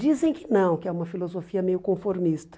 Dizem que não, que é uma filosofia meio conformista.